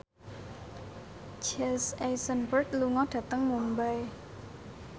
Jesse Eisenberg lunga dhateng Mumbai